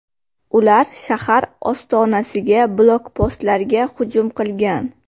Ular shahar ostonasiga blokpostlarga hujum qilgan.